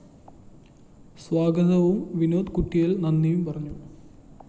സ്വാഗതവും വിനോദ് കുറ്റിയില്‍ നന്ദിയും പറഞ്ഞു